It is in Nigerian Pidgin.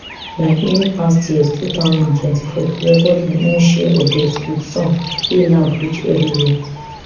like many past years two thousand and twenty-four record im own share of deaths wit some wey loud reach evriwia